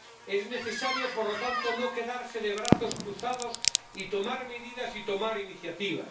Es necesario, por lo tanto, no quedarse de brazos cruzados y tomar medidas y tomar iniciativas